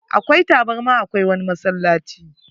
Akwai tabarma a ko wani masallaci.